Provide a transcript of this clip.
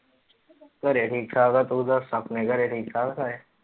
ਘਰੇ ਠੀਕ ਠਾਕ ਆ, ਤੂੰ ਦੱਸ ਆਪਣੇ ਘਰੇ ਠੀਕ ਠਾਕ ਸਾਰੇ।